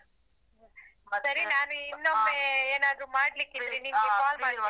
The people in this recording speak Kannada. ಸರಿ ನಾನು ಏನಾದ್ರು ಮಾಡ್ಲಿಕಿದ್ರೆ call .